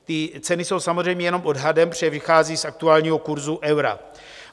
Ty ceny jsou samozřejmě jenom odhadem, protože vycházejí z aktuálního kurzu eura.